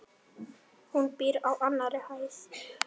Hún býr á annarri hæð.